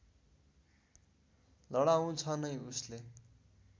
लडाउँछ नै उसले